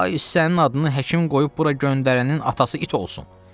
Ay sənin adını həkim qoyub bura göndərənin atası it olsun.